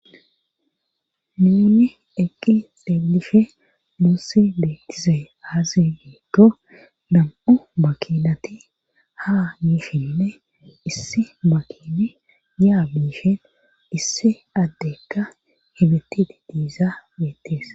nuunni eqqi xeelishe muussi beettize aazi giiggo nam7u makinati ha mishinne issi makin yaa biishen issi addekka hebetida diiza beettees